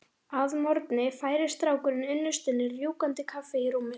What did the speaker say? Að morgni færir strákurinn unnustunni rjúkandi kaffi í rúmið.